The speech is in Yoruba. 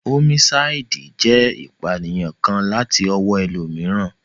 Ómísáìdì jẹ́ ìpànìyàn kan láti ọwọ́ ẹlòmíràn